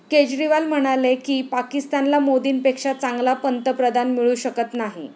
केजरीवाल म्हणाले की, पाकिस्तानला मोदींपेक्षा चांगला पंतप्रधान मिळू शकत नाही.